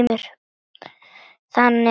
Þannig er saga mín.